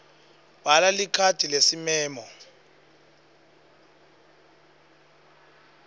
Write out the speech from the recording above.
bhala likhadi lesimemo